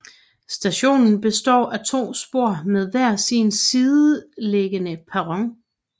Stationen består af to spor med hver sin sideliggende perron